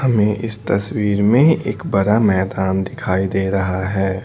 हमे इस तस्वीर में एक बड़ा मैदान दिखाई दे रहा है।